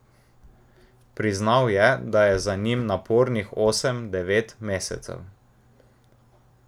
Priznal je, da je za njim napornih osem, devet mesecev.